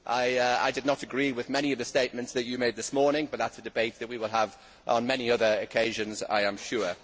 I did not agree with many of the statements that you made this morning, but that is a debate we will have on many other occasions, I am sure.